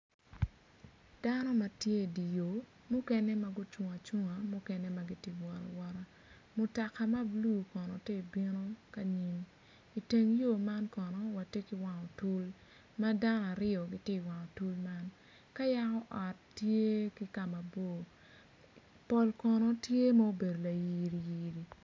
Dano matye idye yor mukene ma gucung acunga mukene magitye kawot awota mutoka ma blu kono tye ka bino ki anyim iteng yor man kono watye ki wang otul ma dano aryo gitye i wang otul man ka yako ot tye ki kama bor pol kono tye ma obedo layiri yiri.